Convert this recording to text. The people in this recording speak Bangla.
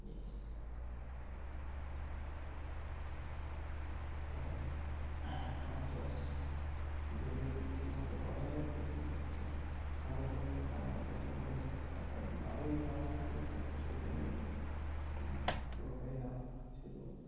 কারন আম চাষ যদি ঠিক মত করা যায় তো সে ক্ষেত্রে লাভের পরিমান টা আমাদের কাছে ভালোই থাকে কারন বাড়ির গাছ থাকলে তো কথাই নেই হম পুরোটাই লাভ শুধু